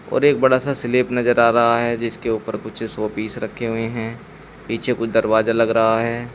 और एक बड़ा सा स्लेप नजर आ रहा है जिसके ऊपर कुछ शो पीस रखें हुए हैं पीछे कुछ दरवाजा लग रहा है।